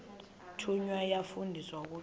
thunywa yafundiswa ukugcina